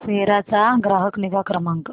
सेरा चा ग्राहक निगा क्रमांक